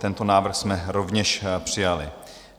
Tento návrh jsme rovněž přijali.